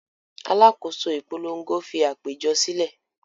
Alákòóso ìpolongo fi àpéjọ sílẹ̀.